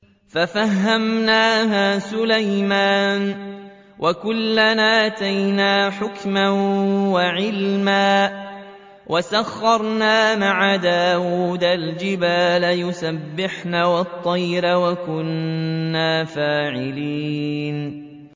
فَفَهَّمْنَاهَا سُلَيْمَانَ ۚ وَكُلًّا آتَيْنَا حُكْمًا وَعِلْمًا ۚ وَسَخَّرْنَا مَعَ دَاوُودَ الْجِبَالَ يُسَبِّحْنَ وَالطَّيْرَ ۚ وَكُنَّا فَاعِلِينَ